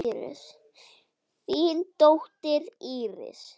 Þín dóttir, Íris.